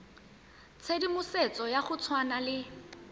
tshedimosetso ya go tshwana le